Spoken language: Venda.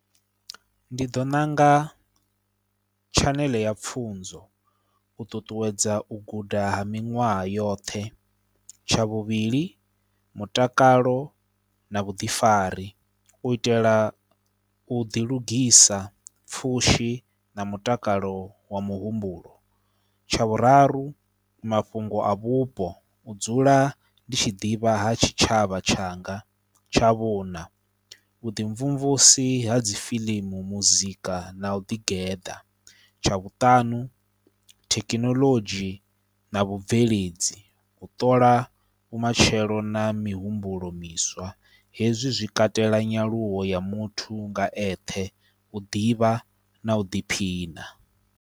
Ndi ḓo ṋanga tshaneḽe ya pfhunzo, u ṱuṱuwedza u guda ha miṅwaha yoṱhe. Tsha vhuvhili, mutakalo na vhuḓifari u itela u ḓilugisa, pfhushi na mutakalo wa muhumbulo. Tsha vhuraru, mafhungo a vhupo u dzula ndi tshi ḓivha ha tshitshavha tshanga. Tsha vhuṋa, vhuḓimvumvusi ha dzi fiḽimu, muzika na u ḓigeḓa. Tsha Vhuṱanu, thekinoḽodzhi na vhubveledzi, u ṱola vhumatshelo na mihumbulo miswa hezwi zwi katela nyaluwo ya muthu nga eṱhe u ḓivha na u ḓiphina.